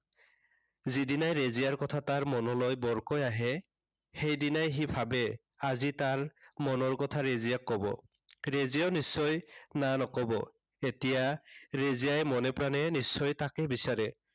যি দিনাই ৰেজিয়াৰ কথা তাৰ মনলৈ বৰকৈ আহে, সেইদিনাই সি ভাবে আজি তাৰ মনৰ কথা ৰেজিয়াক কব। ৰেজিয়াই নিশ্চয় না নকব। এতিয়া ৰেজিয়াই মনে প্ৰাণে নিশ্চয় তাকে বিচাৰে।